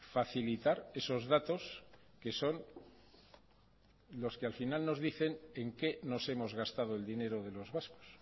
facilitar esos datos que son los que al final nos dicen en qué nos hemos gastado el dinero de los vascos